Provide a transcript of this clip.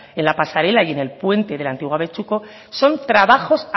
en la pasarela y en el puente del antiguo abetxuko son trabajos